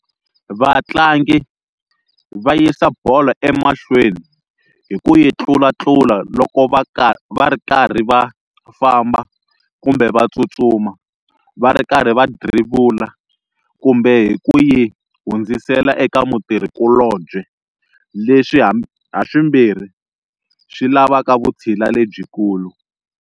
Vatlangi va yisa bolo emahlweni hi ku yi tlulatlula loko va ri karhi va famba kumbe va tsutsuma, va ri karhi va dribble, kumbe hi ku yi hundzisela eka mutirhikulobye, leswi haswimbirhi swi lavaka vutshila lebyikulu.